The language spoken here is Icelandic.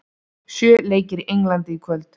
Sjö leikir í Englandi í kvöld